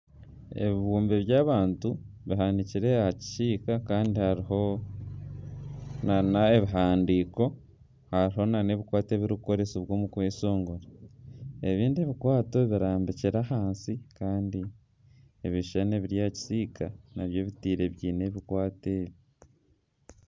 Ebibumbe by'abantu bahanikire aha kisiika kandi hariho nana ebihandiiko nana ebikwato ebirikukoresibwa omu kweshongora. Ebindi ebikwato birambikire ahansi kandi ebishushani ebiri aha kisiika nabyo batiire biine ebikwato ebi.